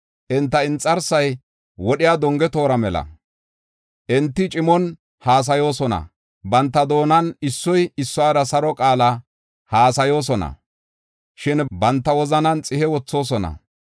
Enta inxarsay wodhiya donge toora mela; enti cimon haasayoosona. Banta doonan issoy issuwara saro qaala haasayoosona; shin banta wozanan xihe wothoosona.